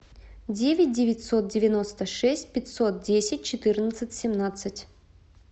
девять девятьсот девяносто шесть пятьсот десять четырнадцать семнадцать